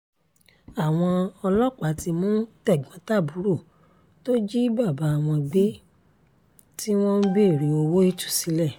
àwọn ọlọ́pàá ti mú tẹ̀gbọ́n-tàbúrò tó jí bàbá wọn gbé tí wọ́n ń béèrè owó ìtúsílẹ̀